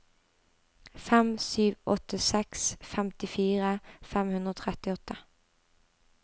fem sju åtte seks femtifire fem hundre og trettiåtte